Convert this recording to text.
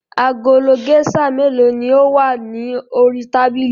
Agolo géíṣà mélòó ni ó wà ní orí tábìlì?